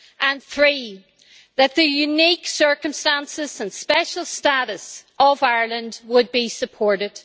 and three, that the unique circumstances and special status of Ireland would be supported.